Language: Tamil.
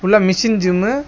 உள்ள மெஷின் ஜிம்மு .